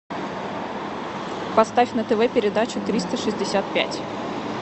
поставь на тв передачу триста шестьдесят пять